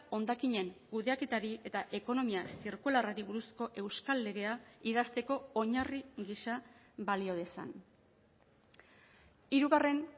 hondakinen kudeaketari eta ekonomia zirkularrari buruzko euskal legea idazteko oinarri gisa balio dezan hirugarren